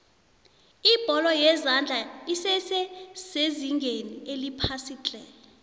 ibholo yezandla esese sezingeni eliphasiitle